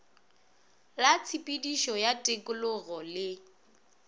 la tshepedišo ya tikologo le